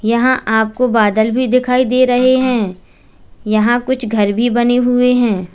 यहां आपको बादल भी दिखाई दे रहे हैं यहां कुछ घर भी बने हुए हैं।